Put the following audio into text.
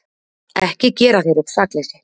Ekki gera þér upp sakleysi.